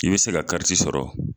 I bɛ se ka kariti sɔrɔ.